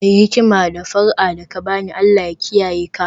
Mai hikima, d fara'a da ka ba ni, Allah ya kiyaye ka